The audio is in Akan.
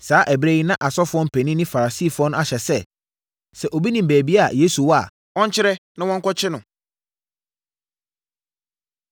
Saa ɛberɛ yi na asɔfoɔ mpanin ne Farisifoɔ no ahyɛ sɛ, sɛ obi nim baabi a Yesu wɔ a, ɔnkyerɛ na wɔnkɔkye no.